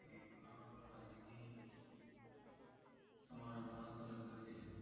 समारंभात लग्न केले